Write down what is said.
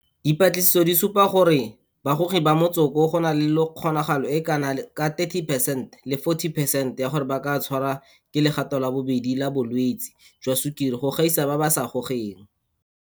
Dipatlisiso di supa gore bagogi ba motsoko go na le kgonagalo e e kana ka 30 percent le 40 percent ya gore ba ka tshwarwa ke legato la bobedi la bo lwetse jwa sukiri go gaisa ba ba sa gogeng.